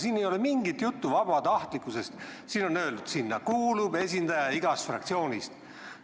Siin ei ole mingit juttu vabatahtlikkusest, siin on öeldud, et sinna kuulub esindaja igast fraktsioonist.